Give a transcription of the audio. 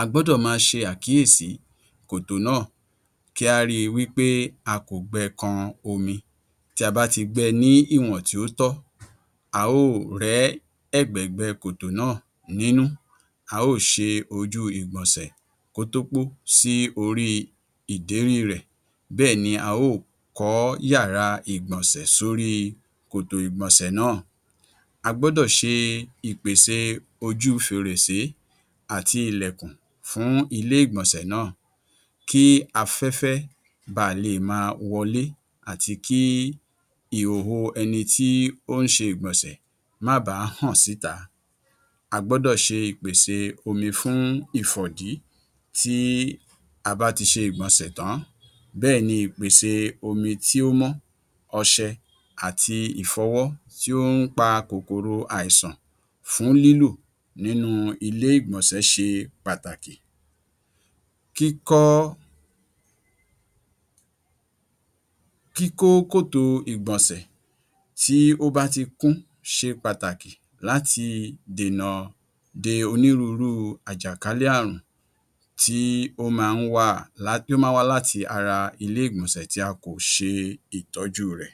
A gbọdọ̀ máa ṣe àkíyèsí kòtò náà kí a rí i wí pé a kò gbé kàn omi. Tí a bá ti gbẹ́ ní ìwọn tí ó tọ́, a ó rẹ̀ ẹ̀gbẹ́gbẹ́ kòtò náà nínú. A ò ṣe ojú ìgbọ̀nsẹ̀ kó tó pò sí orí ìdérí rẹ̀. Bẹ́ẹ̀ ni a ò kọ́ yàrá ìgbọ̀nsẹ̀ sórí kòtò ìgbọ̀nsẹ̀ náà. A gbọdọ̀ ṣe ipèsè ojú fèrèsé àti ìlẹ̀kùn fún ilé ìgbọ̀nsẹ̀ náà kí afẹ́fẹ́ bàá lè má wọ̀lé àti kí ìhòhò ẹnì tí ó ń ṣe ìgbọ̀nsẹ̀ má bà hàn síta. A gbọdọ̀ ṣe ipèsè omi fún ìfọ̀dí tí a bá ti ṣe ìgbọ̀nsẹ̀ tan. Bẹ́ẹ̀ ni ipèsè omi tí ó mọ ọṣẹ̀ àti ìfọwọ́ tí ó ń pa kòkòrò àìsàn fún lílù nínú ilé ìgbọ̀nsẹ̀ ṣe pàtàkì. Kíkó kòtò ìgbọ̀nsẹ̀ tí ó bá ti kún ṣe pàtàkì láti dènà dé onírúurú àjàkálẹ̀-ààrùn tí ó máa ń wá láti ara ilé ìgbọ̀nsẹ̀ tí a kò ṣe ìtọ́jú rẹ̀.